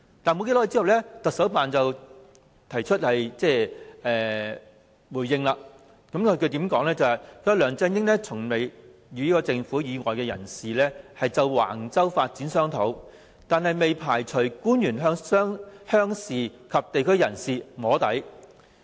然而，其後不久，香港特別行政區行政長官辦公室作出回應，指梁振英從未與政府以外的人士就橫洲發展商討，但未排除官員曾向鄉事及地區人士"摸底"。